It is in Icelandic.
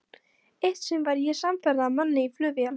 Eitt sinn var ég samferða manni í flugvél.